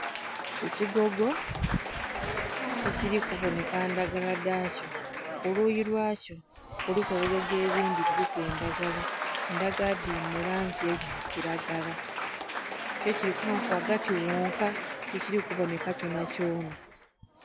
Ekigogo tikili kubonheka ndhagala dha kyo, kuluyi lwakyo kuliku ebigogo ebindhi biliku endhagala, endhagala dhili mu langi eya kilagala kyo kili ku bonheka ku ghagati ghhonka tikili kubonheka kyona kyona.